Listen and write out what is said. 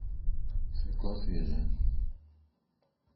свекла свежая